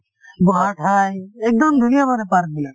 বহা ঠাই, একদম ধুনীয়া মানে park বিলাক